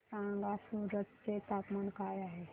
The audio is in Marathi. मला सांगा सूरत चे तापमान काय आहे